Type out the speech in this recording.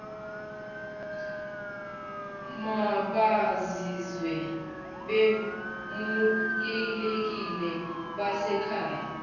mabazizwe bemukelekile besekhaya